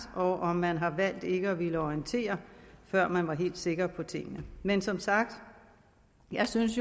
og om man har valgt ikke at ville orientere før man var helt sikker på tingene men som sagt jeg synes